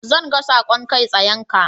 Zan ga saƙon kai tsayenka.